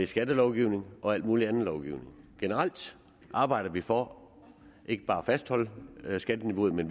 skattelovgivningen og al mulig anden lovgivning generelt arbejder vi for ikke bare at fastholde skatteniveauet men